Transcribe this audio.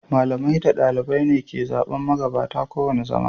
Malamai da ɗalibai ne ke zaɓen magabata kowane zama.